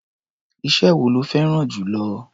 Iṣẹ́ wo lo fẹ́rá̀n jù lọ?